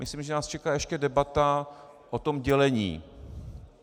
Myslím, že nás čeká ještě debata o tom dělení.